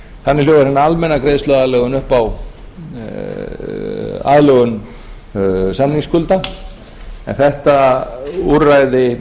þannig hljóðar hin almenna greiðsluaðlögun upp á aðlögun samningsskulda en þetta úrræði